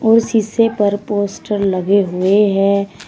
और शीशे पर पोस्टर लगे हुए हैं।